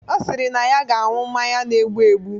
Ọ sịrị na ya ga-anwụ mmanya na-egbu egbu